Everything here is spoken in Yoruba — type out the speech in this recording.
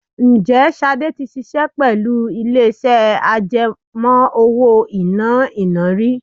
Ǹjẹ́ Ṣadé tí ṣiṣẹ́ pẹ̀lú ilé iṣẹ́ àjẹmó-owó-ìná iná rí?